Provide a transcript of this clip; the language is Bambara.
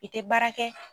I tɛ baara kɛ